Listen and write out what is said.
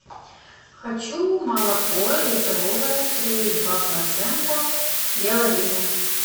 хочу молоко литровое три и два процента белая линия